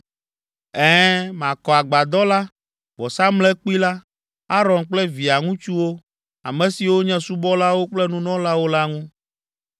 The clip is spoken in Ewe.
Ɛ̃, makɔ agbadɔ la, vɔsamlekpui la, Aron kple via ŋutsuwo, ame siwo nye subɔlawo kple nunɔlawo la ŋu.